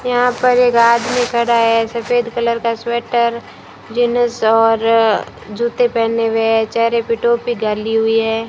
यहां पर एक आदमी खड़ा है सफेद कलर का स्वेटर जींस और जूते पहने हुए है चेहरे पे टोपी डाली हुई है।